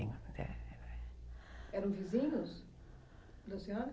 Eram vizinhos da senhora?